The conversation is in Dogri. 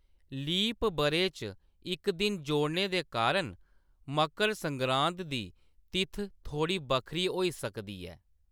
लीप ब'रे च इक दिन जोड़ने दे कारण मकर संगरांद दी तित्थ थोह्‌ड़ी बक्खरी होई सकदी ऐ।